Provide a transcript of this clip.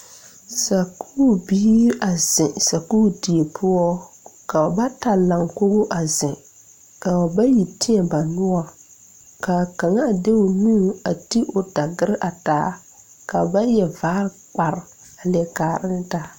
Sakuure biire a zeŋ sakuure die poɔ ka ba bata laŋ kogo a zeŋ ka ba bayi teɛ ba noɔre kaa kaŋa de o nu a ti o dagyire a taa ka ba yɛre vaare kpare a kaara ne taa.